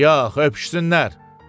Yox, öpüşsünlər.